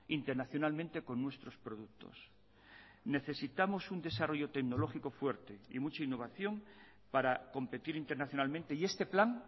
internacionalmente con nuestros productos necesitamos un desarrollo tecnológico fuerte y mucha innovación para competir internacionalmente y este plan